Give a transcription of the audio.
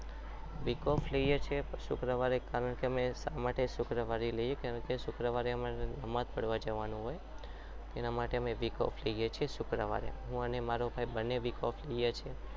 Week off લઈએ છીએ કારણ કે અમે શા માટે શુક્રવારે લઈએ કેમકે શુક્રવારે અમારે નમાજ પડવા જવાનું હોય એના માટે અમે week off લઈએ છીએ શુક્રવાર હું અને મારો ભાઈ બંને week off લઈએ છીએ